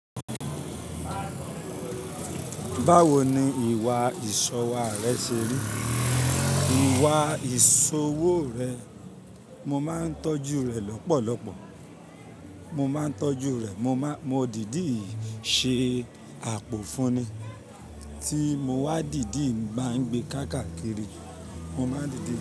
Báwo ni ìwà ìṣọwà rẹ ṣe rí? Ìwà ìṣòwò rẹ̀, mo máa ń tọ́jú rẹ̀ lọ́pọ̀lọpọ̀. Mo máa ń tọ́jú rẹ̀, mo máa, mo dìdíì ṣe àpò fún ni tí mo wá dìdíì má ń gbe káàkiri, mo máa dìdíì.